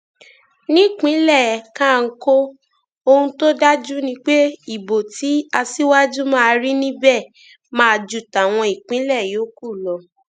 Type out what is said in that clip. nípínlẹ kánkó ohun tó dájú ni pé ìbò tí aṣíwájú máa rí níbẹ máa ju tàwọn ìpínlẹ yòókù lọ